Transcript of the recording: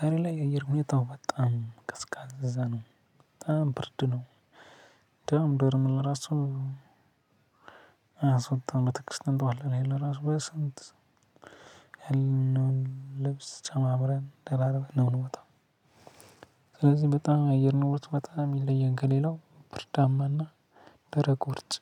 ዛሬ ላይ የአየር ሁኔታው በጣም ቀዝቃዛ ነው በጣም ብርድ ነው። እንደውም ዶርም ለራሱ አያስወጣም በጥቅስት እንጠዋለን ይሄ ለራሱ በስንት ያልነውን ልብስ ጨማምረን ደራርበን ነው የምወጣው። ስለዚህ በጣም አየር ንብረት በጣም ይለያል ከሌላው ብርዳማና ደረቅ ውርጭ